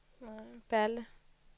Balle